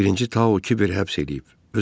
Birinci Tao Kiveri həbs eləyib.